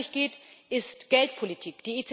Worum es wirklich geht, ist Geldpolitik.